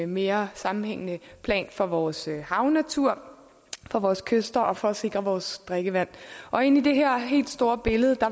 mere sammenhængende plan for vores havnatur for vores kyster og for at sikre vores drikkevand og inde i det her helt store billede